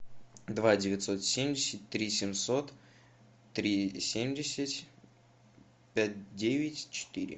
два девятьсот семьдесят три семьсот три семьдесят пять девять четыре